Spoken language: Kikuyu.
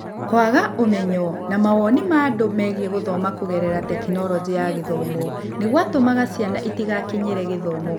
Kwaga ũmenyo na mawoni ma andũ megiĩ gũthoma kũgerera Tekinoronjĩ ya Gĩthomo nĩ gwatũmaga ciana itigakinyĩre gĩthomo.